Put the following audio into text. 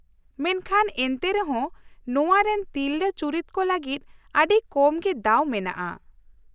ᱢᱮᱱᱠᱷᱟᱱ ᱮᱱᱛᱮᱨᱮᱦᱚᱸ ᱱᱚᱶᱟ ᱨᱮᱱ ᱛᱤᱨᱞᱟᱹ ᱪᱩᱨᱤᱛ ᱠᱚ ᱞᱟᱹᱜᱤᱫ ᱟᱹᱰᱤ ᱠᱚᱢ ᱜᱮ ᱫᱟᱣ ᱢᱮᱱᱟᱜᱼᱟ ᱾